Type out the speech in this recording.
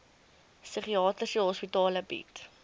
psigiatriese hospitale bied